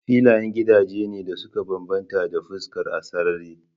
Filayen gidaje ne da suka bambanta ta fuskar sarari.